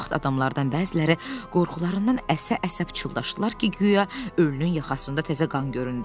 Bu vaxt adamlardan bəziləri qorxularından əsə-əsə çıldaşdılar ki, guya ölünün yaxasında təzə qan göründü.